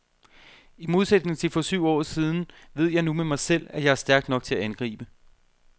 I modætning til for syv år siden ved jeg nu med mig selv, at jeg er stærk nok til at angribe.